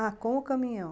Ah, com o caminhão.